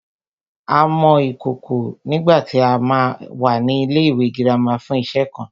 A mọ ìkòkò nígbàtí a wà ní ilẹ́ ìwé girama fún iṣe kan